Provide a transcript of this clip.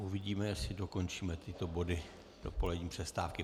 Uvidíme, jestli dokončíme tyto body do polední přestávky.